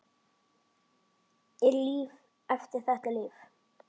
Er líf eftir þetta líf?